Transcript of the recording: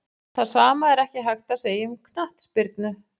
Það sama er ekki hægt að segja um knattspyrnu.